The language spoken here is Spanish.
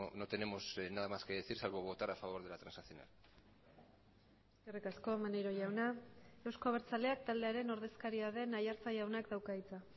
no tenemos nada más que decir salvo votar a favor de la transaccional eskerrik asko maneiro jauna euzko abertzaleak taldearen ordezkaria den aiartza jaunak dauka hitza